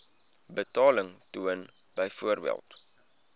betaling toon byvoorbeeld